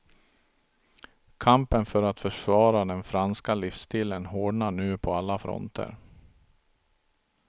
Kampen för att försvara den franska livsstilen hårdnar nu på alla fronter.